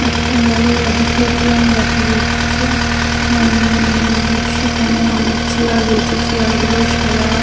একটা বড় অডিটোরিয়াম দেখা যাচ্ছে উম-ম-ম-ম সেখানে অনেক চেয়ার রয়েছে চেয়ারগুলো সাদা।